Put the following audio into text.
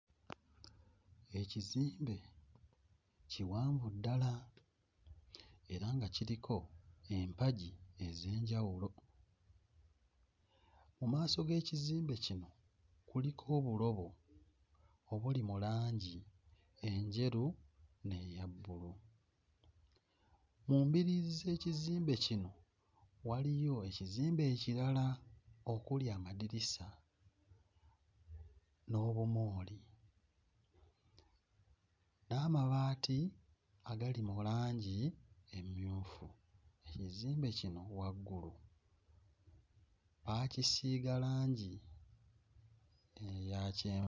Ekizimbe kiwanvu ddala era nga kiriko empagi ez'enjawulo, mu maaso g'ekizimbe kino kuliko obulobo obuli mu langi enjeru n'eya bbulu, mu mbiriizi z'ekizimbe kino waliyo ekizimbe ekirala okuli amadirisa n'obumooli n'amabaati agali mu langi emmyufu, ekizimbe kino waggulu baakisiiga langi eya kye